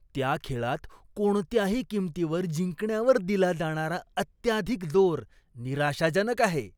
त्या खेळात कोणत्याही किंमतीवर जिंकण्यावर दिला जाणारा अत्याधिक जोर निराशाजनक आहे.